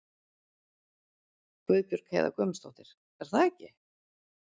Guðbjörg Heiða Guðmundsdóttir: Er það ekki?